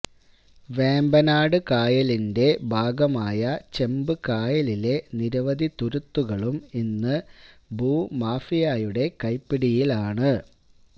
വേമ്പനാട് കായലിന്റെ ഭാഗമായ ചെമ്പ് കായലിലെ നിരവധി തുരുത്തുകളും ഇന്ന് ഭൂമാഫിയായുടെ കൈപ്പിടിയിലാണ്